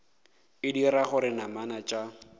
e dira gore namana tša